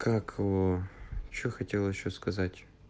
как ээ что хотел ещё сказать